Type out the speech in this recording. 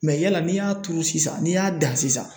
Mɛ yala n'i y'a turu sisan n'i y'a dan sisan